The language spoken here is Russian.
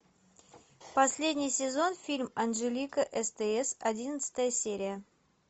последний сезон фильм анжелика стс одиннадцатая серия